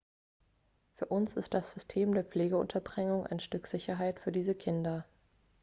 für uns ist das system der pflegeunterbringung ein stück sicherheit für diese kinder